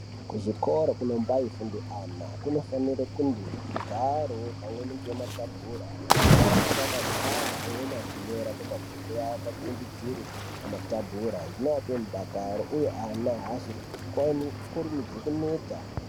Kuzvikora kunombaifunde ana kunofanire kunge kune zvigwaro pamweni nematabhura ana anonga akagara amwemweni achinyora pamabhuku awo akatsimbidzire pamatebhura zvinoape mudakaro uye ana aazokwani kurumidzi kuneta.